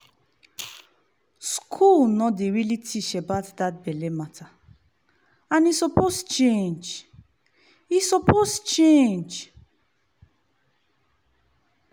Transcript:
school no dey really teach about that belle matter and e suppose change. e suppose change.